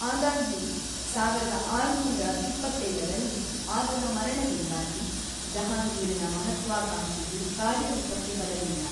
ಆದಾಗ್ಯೂ, ಸಾವಿರದ ಆರುನೂರ ಇಪ್ಪತ್ತೇಳರಲ್ಲಿ ಆತನ ಮರಣದಿಂದಾಗಿ, ಜಹಾಂಗೀರನ ಮಹತ್ವಾಕಾಂಕ್ಷೆಯು ಕಾರ್ಯರೂಪಕ್ಕೆ ಬರಲಿಲ್ಲ.